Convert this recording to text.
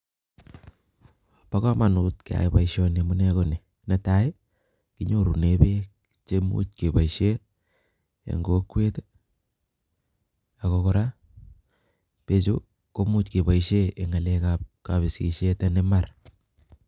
Bo kamanut keyai boisioni amune ko ni, netai ii kinyorune peek che much keboisie eng kokwet ii, ako kora peechu komuch keboisie eng ngalekab kabisisiet en imbar.